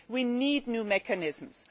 We need new mechanisms.